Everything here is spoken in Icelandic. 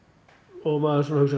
og maður hugsar